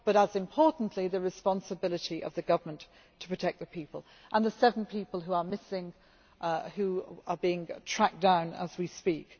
Secondly, and just as importantly, the responsibility of the government to protect the people, and the seven people who are missing and who are being tracked down as we speak.